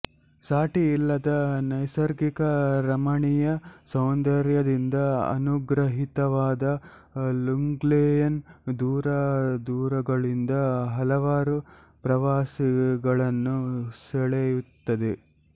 ಸಾಟಿಯಿಲ್ಲದ ನೈಸರ್ಗಿಕ ರಮಣೀಯ ಸೌಂದರ್ಯದಿಂದ ಅನುಗ್ರಹಿತವಾದ ಲುಂಗ್ಲೇಯ್ ದೂರ ದೂರಗಳಿಂದ ಹಲವಾರು ಪ್ರವಾಸಿಗಳನ್ನು ಸೆಳೆಯುತ್ತದೆ